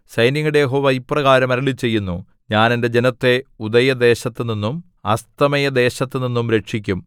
സൈന്യങ്ങളുടെ യഹോവ ഇപ്രകാരം അരുളിച്ചെയ്യുന്നു ഞാൻ എന്റെ ജനത്തെ ഉദയദേശത്തുനിന്നും അസ്തമയദേശത്തുനിന്നും രക്ഷിക്കും